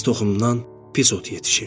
pis toxumdan pis ot yetişir.